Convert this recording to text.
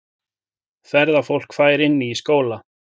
Ferðafólk fær inni í skóla